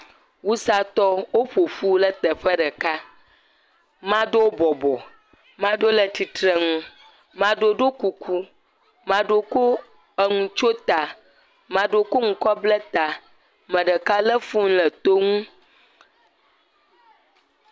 Wusatɔwo, woƒoƒu ɖe teƒe ɖeka ame aɖewo bɔbɔ maɖewo le tsitre nu maɖewo ɖɔ kuku maɖewo kɔ enu tsyɔ̃ ta ame aɖewo kɔ nu kɔ bla ta ame ɖeka lé fon ɖe to nu.